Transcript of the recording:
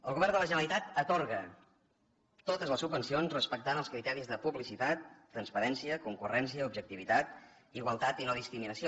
el govern de la generalitat atorga totes les subvencions respectant els criteris de publicitat transparència concurrència objectivitat igualtat i no discriminació